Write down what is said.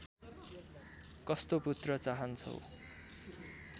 कस्तो पुत्र चाहन्छौ